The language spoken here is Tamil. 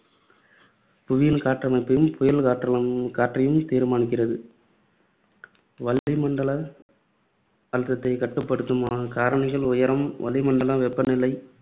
புவியின் காற்றமைப்பையும், புயல் காற்றை காற்றையும் தீர்மானிக்கிறது. வளிமண்டல அழுத்தத்தை கட்டுப்படுத்தும் காரணிகள் உயரம், வளிமண்டல வெப்பநிலை,